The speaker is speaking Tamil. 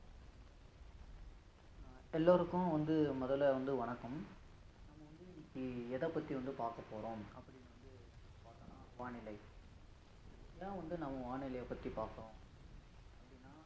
எல்லோருக்கும் வந்து முதல்ல வந்து வணக்கம் நம்ம வந்து இன்னைக்கு எதப் பத்தி வந்து பார்க்கப் போறோம் அப்படின்னு வந்து பாத்தோம்னா வானிலை ஏன் வந்து நம்ம வானிலையை பத்தி பாத்தோம் அப்படின்னா